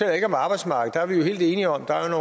jeg ikke om arbejdsmarkedet vi jo helt enige om at